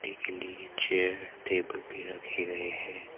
के नीचे टेबल भी रखे गए हैं।